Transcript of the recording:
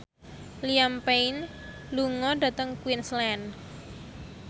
Liam Payne lunga dhateng Queensland